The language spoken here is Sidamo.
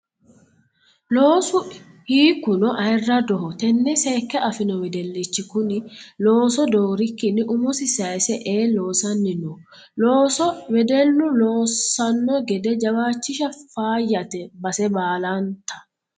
Loosu hiikkuno ayirradoho tene seekke afino wedellichi kune looso doorikkinni umosi sayse ee loossanni no loosso wedellu loossano gede jawachisha faayyate base baallanta.